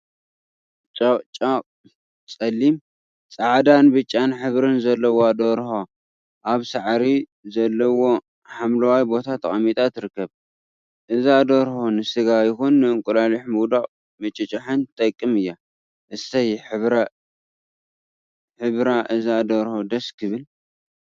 ጨቅጨቅ/ፀሊም፣ ፃዕዳን ብጫን ሕብሪ ዘለዋ ደርሆ አብ ሳዕሪ ዘለዎ ሓምለዋይ ቦታ ተቀሚጣ ትርከብ፡፡ እዛ ደርሆ ንስጋ ይኩን ንእንቋቁሑ ምውዳቅን ምጭጫሕን ትጠቅም እያ፡፡ እሰይ ሕብሪ እዛ ደርሆ ደስ ክብል፡፡